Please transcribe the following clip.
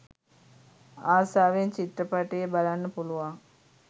ආසාවෙන් චිත්‍රපටයේ බලන්න පුළුවන්.